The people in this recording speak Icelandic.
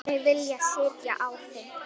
rúmum sextíu árum áður.